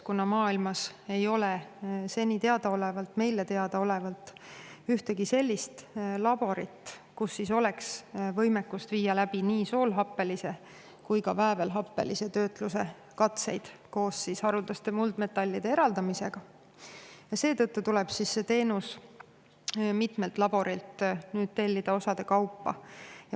Kuna maailmas ei ole seni, meile teadaolevalt ühtegi laborit, kus oleks võimekus viia läbi nii soolhappelise kui ka väävelhappelise töötluse katseid koos haruldaste muldmetallide eraldamisega, tuleb see teenus mitmelt laborilt tellida osade kaupa.